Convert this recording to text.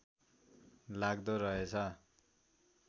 लाग्दो रहेछ